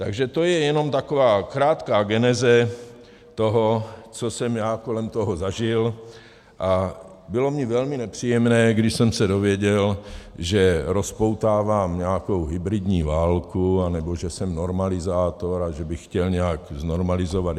Takže to je jenom taková krátká geneze toho, co jsem já kolem toho zažil, a bylo mi velmi nepříjemné, když jsem se dověděl, že rozpoutávám nějakou hybridní válku, anebo že jsem normalizátor a že bych chtěl nějak znormalizovat.